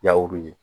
Yawuru ye